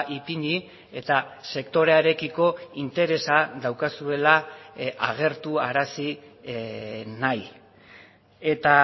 ipini eta sektorearekiko interesa daukazuela agertu arazi nahi eta